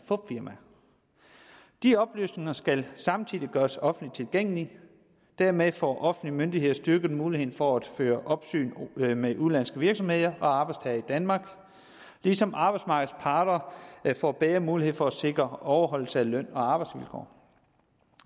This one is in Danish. fupfirmaer de oplysninger skal samtidig gøres offentligt tilgængelige dermed får offentlige myndigheder styrket muligheden for at føre opsyn med med udenlandske virksomheder og arbejdstagere i danmark ligesom arbejdsmarkedets parter får bedre mulighed for at sikre overholdelse af løn og arbejdsvilkår